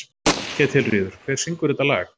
Ketilríður, hver syngur þetta lag?